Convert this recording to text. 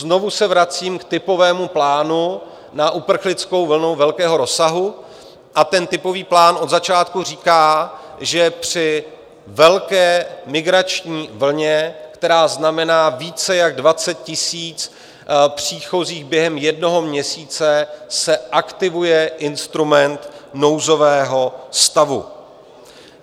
Znovu se vracím k typovému plánu na uprchlickou vlnu velkého rozsahu a ten typový plán od začátku říká, že při velké migrační vlně, která znamená více jak 20 000 příchozích během jednoho měsíce, se aktivuje instrument nouzového stavu.